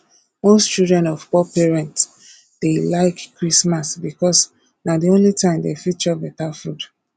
most children of poor parents dey like christmas because na the only time dem fit chop better food